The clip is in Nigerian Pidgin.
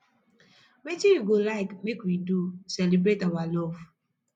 wetin you go like make we do celebrate our love